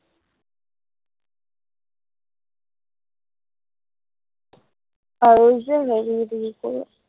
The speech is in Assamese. আৰু যে হেৰি, এইটো কি কয়